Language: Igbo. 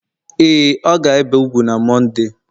ee, ọ ga-ebe úgwù na Mọnde